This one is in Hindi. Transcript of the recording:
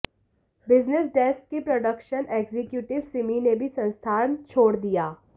बिजनेस डेस्क की प्रोडक्शन एक्जीक्यूटिव सिमी ने भी संस्थान छोड़ दिया